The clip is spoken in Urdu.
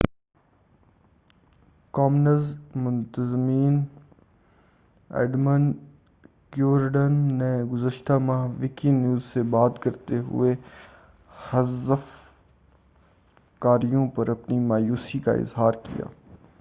کامنز منتظم ایڈم کیورڈن نے گزشتہ ماہ وکی نیوز سے بات کرتے ہوئے حذف کاریوں پر اپنی مایوسی کا اظہار کیا